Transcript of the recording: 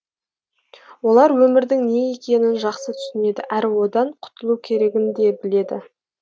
олар өмірдің не екенін жақсы түсінеді әрі одан құтылу керегін де біледі